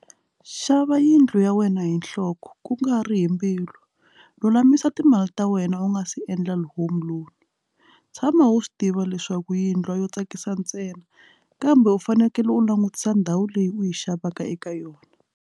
Xava yindlu ya wena hi nhloko ku nga ri hi mbilu lulamisa timali ta wena u nga se endla home alone tshama wu swi tiva leswaku yindlu yo tsakisa ntsena kambe u fanekele u langutisa ndhawu leyi u yi xavaka eka yona.